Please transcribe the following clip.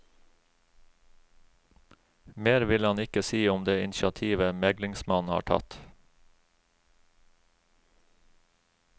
Mer vil han ikke si om det initiativet meglingsmannen har tatt.